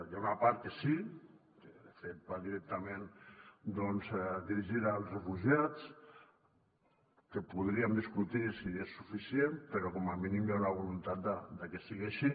hi ha una part que sí que de fet va directament doncs dirigida als refugiats que podríem discutir si és suficient però com a mínim hi ha una voluntat de que sigui així